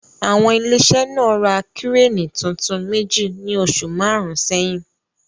Àwọn ilé iṣẹ́ náà ra Kíréènì tuntun méjì ní oṣù márùn-ún sẹ́yìn.